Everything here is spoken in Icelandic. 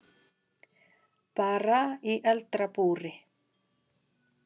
Bara í eldra búri.